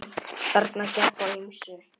Þarna gekk á ýmsu.